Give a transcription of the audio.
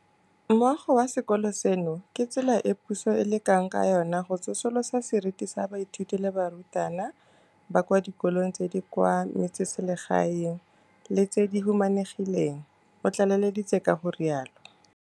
Moago wa sekolo seno ke tsela e puso e lekang ka yona go tsosolosa seriti sa baithuti le barutabana ba kwa dikolong tse di kwa metseselegaeng le tse di humanegileng, o tlaleleditse ka go rialo.